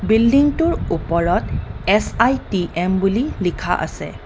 বিল্ডিংটোৰ ওপৰত এছ_আই_টি_এম বুলি লিখা আছে।